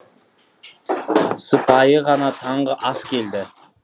сыпайы ғана таңғы ас келді